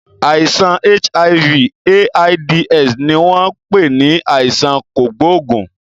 Àìsàn HIV/AIDS ni wọn pè ní àìsàn kògóògùn.